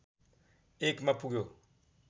१ मा पुग्यो